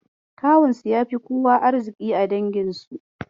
Kawunsu ya fi kowa arziƙi a danginsu.